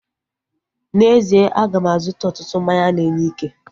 N'ezie, aga m azụta ọtụtụ mmanya na-enye ike